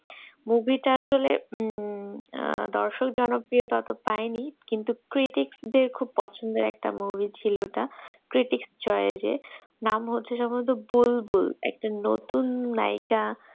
movie টা আসলে আহ দর্শন জনক প্রিয়তা অটো পাইনি কিন্তু critic দেড় একটা পছন্দের একটা movie ছিল ওটা critic choice এ নাম হচ্ছে সম্ভমত বুলবুল একটা নতুন নায়েক